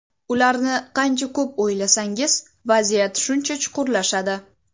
Ularni qancha ko‘p o‘ylasangiz vaziyat shuncha chuqurlashadi.